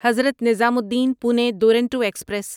Hazrat Nizamuddin Pune Duronto express